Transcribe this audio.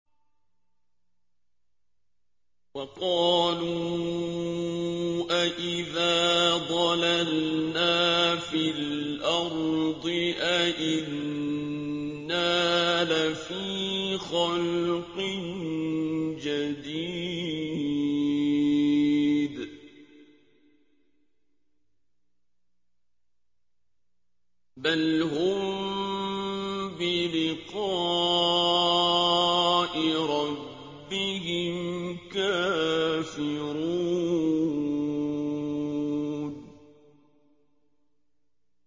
وَقَالُوا أَإِذَا ضَلَلْنَا فِي الْأَرْضِ أَإِنَّا لَفِي خَلْقٍ جَدِيدٍ ۚ بَلْ هُم بِلِقَاءِ رَبِّهِمْ كَافِرُونَ